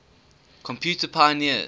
computer pioneers